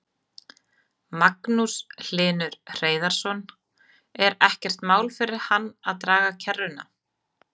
Magnús Hlynur Hreiðarsson: Er ekkert mál fyrir hann að draga kerruna?